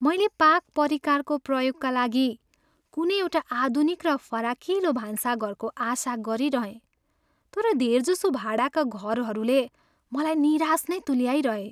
मैले पाक परिकारको प्रयोगका लागि कुनै एउटा आधुनिक र फराकिलो भान्साघरको आशा गरिरहेँ तर धेर जसो भाडाका घरहरूले मलाई निराश नै तुल्याइरहे।